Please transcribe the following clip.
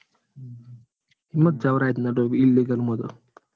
એમાં તો જવાય જ ના illegal માં તો.